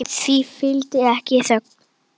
Því fylgdi ekki þögn.